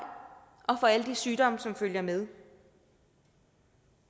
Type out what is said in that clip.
og for alle de sygdomme som følger med